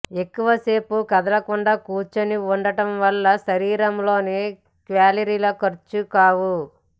ఎక్కువ సేపు కదలకుండా కూర్చుని ఉండటం వల్ల శరీరంలోని క్యాలరీలు ఖర్చు కావు